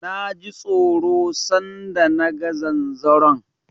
Na ji tsoro san da na ga zanzaron.